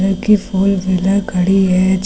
की four wheeler खड़ी है--